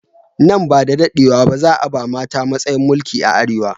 Nan bada daɗewa ba, za a ba mata matsayin mulki a Arewa.